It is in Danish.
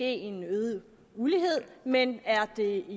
en øget ulighed men er det